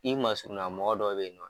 I masurunna mɔgɔ dɔ bɛ yen nɔ